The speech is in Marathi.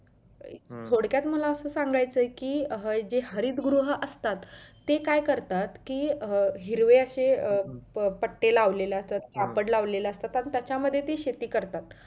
थोडक्यात मला असं सांगायचं आहे कि जे हरित गृह असतात ते काय करतात कि हिरवं असे पट्टे लावलेलं असतात कापड लावलेलं असतात त्या मध्ये ते शेती करतात